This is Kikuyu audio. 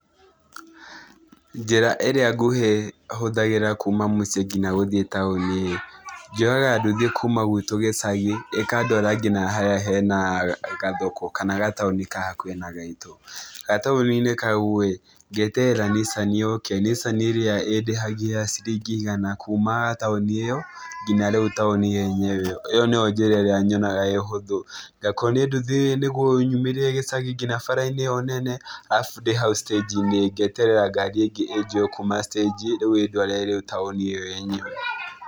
Njĩra ĩrĩa nguhĩ hũthagĩra kuuma mũciĩ nginya gũthiĩ taũni ĩĩ, njoyaga nduthi kuuma gwitũ gĩcagi, ĩkandwara nginya harĩa hena gathoko kana gataũni ka hakuhĩ na gaitũ. Gataũni-inĩ kau ĩĩ, ngeterera nissani yũke nissani ĩrĩa ĩndĩhagia ciringi igana kuuma taũni ĩyo nginya rĩu taũni yenyewe. ĩyo nĩyo njĩra ĩrĩa nyonaga ĩĩ ũhũthũ. Ngakuo nĩ nduthi nĩguo ĩnyumĩrie gĩcagi ngina bara-inĩ ĩyo nene. Arabu ndĩ hau stage-inĩ, ngeterera ngari kuuma stage rĩu ĩĩ ndware taũni ĩyo yenyewe.